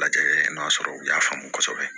Lajɛ n'a sɔrɔ u y'a faamu kosɛbɛ